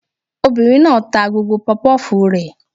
Obìnrin náà ta gbogbo pọpọ́fùù rẹ̀